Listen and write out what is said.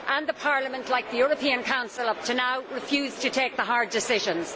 The Parliament, like the European Council up to now, refused to take the hard decisions.